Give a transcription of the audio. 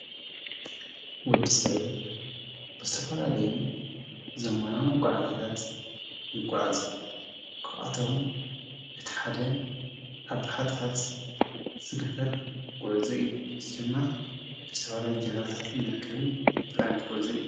ወዲ ሰብ ብስተፋላ ለዩ ዘመናም ጐዓጃታት ይጐዓዘ ክኣቶም እቲሓደ ኣብ ሓርታት ዝግበር ጐዕዘይ ዝደማ ብስተፋላይ ገልባታትን መርከብን ዝግበር ኣይተ ጐልዘይ።